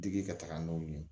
Digi ka taga n'olu ye